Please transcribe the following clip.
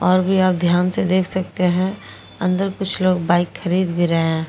और भी आप ध्यान से देख सकते हैं अंदर कुछ लोग बाइक खरीद भी रहे हैं।